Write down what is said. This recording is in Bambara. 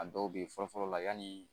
A dɔw bɛ fɔlɔ fɔlɔ la yanni